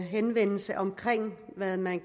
henvendelse om hvad man